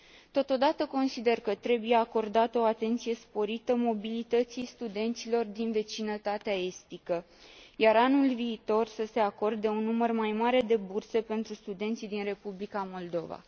Totodată, consider că trebuie acordată o atenție sporită mobilității studenților din vecinătatea estică, iar anul viitor să se acorde un număr mai mare de burse pentru studenții din Republica Moldova.